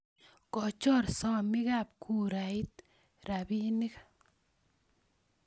Kochor somikab kurait rapinik